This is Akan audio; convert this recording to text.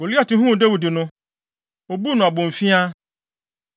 Goliat huu Dawid no, obuu no abomfiaa.